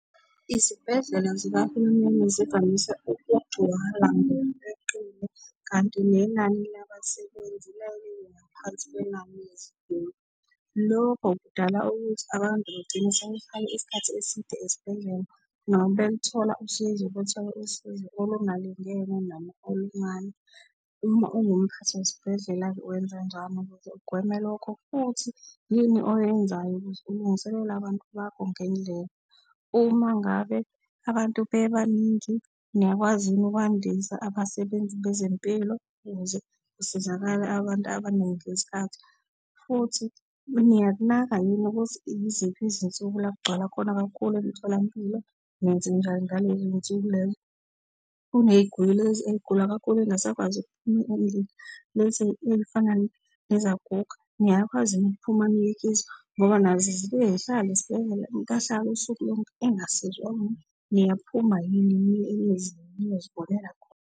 Izibhedlela zikahulumeni zivamise ukugcwala ngokweqile kanti nenani labasebenzi liyaye libe ngaphansi kwenani leziguli. Lokho kudala ukuthi abantu bagcina sebehlale isikhathi eside esibhedlela, noma belithola usizo bathole usizo olungalingene noma oluncane. Uma ungumphathi wesibhedlela-ke wenzanjani ukuze ugweme lokho? Futhi yini oyenzayo ukuze ulungiselele abantu bakho ngendlela? Uma ngabe abantu bebaningi niyakwazi yini ukwandisa abasebenzi bezempilo ukuze kusizakale abantu abaningi ngesikhathi? Futhi niyakunaka yini ukuthi iziphi izinsuku la gcwala khona kakhulu emtholampilo, nenzenjani ngalezo y'nsuku lezo? Kuney'guli lezi ey'gula kakhulu ey'ngasakwazi ukuphuma endlini lezi ey'fana nezaguga, niyakwazi yini ukuphuma niye kizo ngoba nazo zibuye zihlale ezibhedlela, umuntu ahlale usuku lonke engasizwa muntu. Niyaphuma yini niye emizini niyozibonela khona?